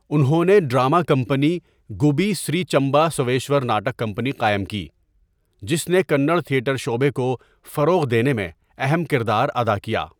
انہوں نے drama company, Gubbi Sri Channabasaveshwara Nataka company قائم کی، جس نے کنڑ تھیٹر شعبے کو فروغ دینے میں اہم کردار ادا کیا۔